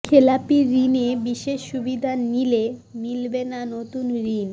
খেলাপি ঋণে বিশেষ সুবিধা নিলে মিলবে না নতুন ঋণ